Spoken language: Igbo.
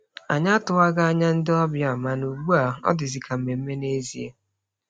Anyị atụwaghị anya ndị ọbịa, mana ugbu a ọ dịzi ka mmemme n'ezie.